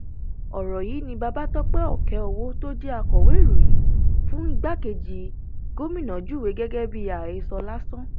ọrọ yìí ni babatope okeowo tó jẹ akọwé ìròyìn fún igbákejì gómìnà júwe gẹgẹ bíi àhesọ lásán